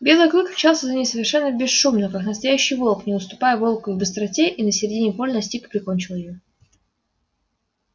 белый клык мчался за ней совершенно бесшумно как настоящий волк не уступая волку и в быстроте и на середине поля настиг и прикончил её